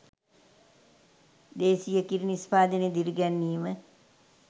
දේශීය කිරි නිෂ්පාදනය දිරිගැන්වීම